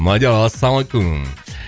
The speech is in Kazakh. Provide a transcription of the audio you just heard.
мадияр ассалаумалейкум